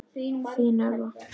Þín, Elva.